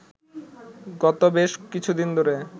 গত বেশ কিছুদিন ধরে